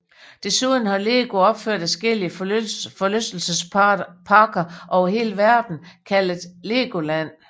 Desuden har Lego opført adskillige forlystelsesparker over hele verden kaldet Legoland